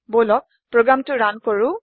বলক প্ৰোগ্ৰামটো ৰান কৰো